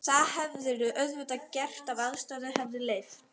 Það hefðirðu auðvitað gert ef aðstæður hefðu leyft.